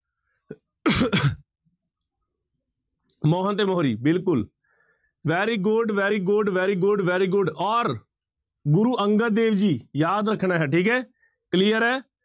ਮੋਹਨ ਅਤੇ ਮੋਹਰੀ ਬਿਲਕੁਲ very good, very good, very good, very good ਔਰ ਗੁਰੂ ਅੰਗਦ ਦੇਵ ਜੀ ਯਾਦ ਰੱਖਣਾ ਹੈ ਠੀਕ ਹੈ clear ਹੈ।